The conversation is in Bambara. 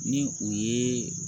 Ni u ye